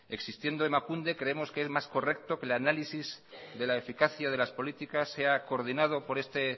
existiendo emakunde creemos que es más correcto que el análisis de la eficacia de las políticas se ha coordinado por este